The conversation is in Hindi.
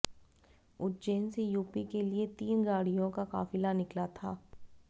उज्जैन से यूपी के लिए तीन गाड़ियों का काफिला निकला था